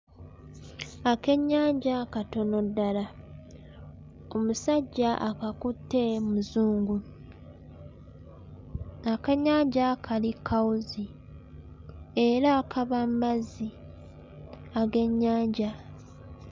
Akennyanja katono ddala. Omusajja akakutte Muzungu. Akennyanja kali kkawuzi era kava mmazzi ag'ennyanja.